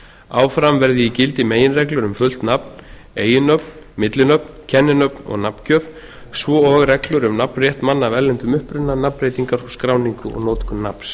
áfram verði í gildi meginreglur um fullt nafn eiginnöfn millinöfn kenninöfn og nafngjöf svo og reglur um nafnrétt manna af erlendum uppruna nafnbreytingar og skráningu og notkun nafns